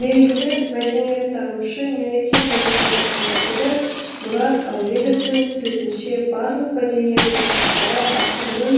белгілі мәдениеттанушы мемлекет және қоғам қайраткері мұрат әуезовтың сөзінше барлық мәдениет ошақтары ақынның